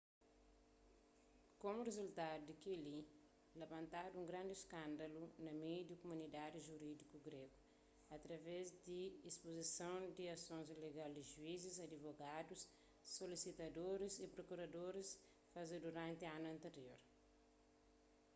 komu rizultadu di kel-li labantadu un grandi iskândalu na meiu di kumunidadi jurídiku grégu através di ispuzison di asons ilegal ki juizis adivogadus solisitadoris y prokuradoris faze duranti anus antirior